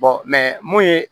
mun ye